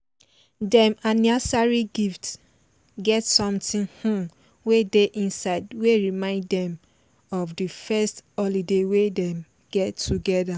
dem anniersary gift get something um wey dey inside wey remind dem of di first holiday wey dem get together